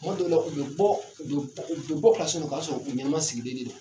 Kuma dɔw la, u bɛ bɔ, u bɛ bɔ u bɛ bɔ ka sun, u k'a ka sɔrɔ u ɲɛnɛma sigilen de don